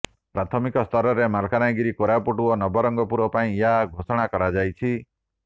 ପ୍ରାଥମିକ ସ୍ତରରେ ମାଲକାନଗିରି କୋରପୁଟ ଓ ନବରଙ୍ଗପୁର ପାଇଁ ଏହି ଘୋଷଣା କରାଯାଇଛି